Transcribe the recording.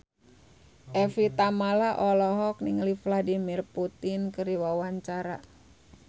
Evie Tamala olohok ningali Vladimir Putin keur diwawancara